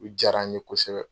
U jara n ye kosɛbɛ.